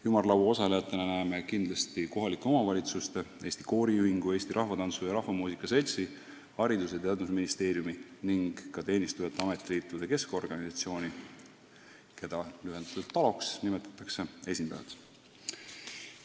Ümarlaua osalejatena näeme kindlasti kohalike omavalitsuste, Eesti Kooriühingu, Eesti Rahvatantsu ja Rahvamuusika Seltsi, Haridus- ja Teadusministeeriumi ning ka Teenistujate Ametiliitude Keskorganisatsiooni ehk lühendatult TALO esindajaid.